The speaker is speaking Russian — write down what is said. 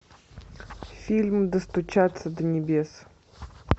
фильм достучаться до небес